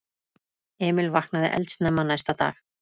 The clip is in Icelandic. Emil vaknaði eldsnemma næsta dag.